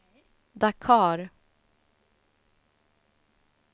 Dakar